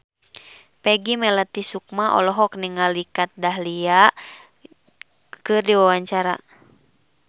Peggy Melati Sukma olohok ningali Kat Dahlia keur diwawancara